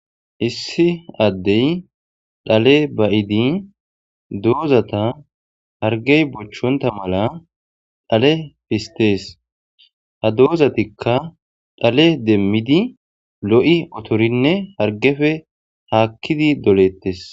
issi addey dhale ba7idi doozata hargey bochonta mala dhale fistees ha doozatikka dhale demmidi lo7i otorinne hargefe haakkidi dolettes